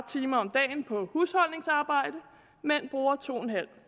time om dagen på husholdningsarbejde mænd bruger to en halv